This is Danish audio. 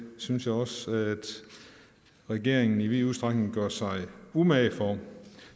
synes jeg også regeringen i vid udstrækning gør sig umage for